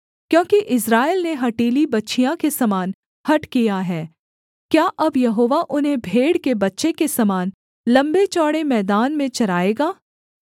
क्योंकि इस्राएल ने हठीली बछिया के समान हठ किया है क्या अब यहोवा उन्हें भेड़ के बच्चे के समान लम्बे चौड़े मैदान में चराएगा